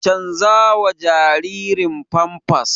canjawa jaririn famfas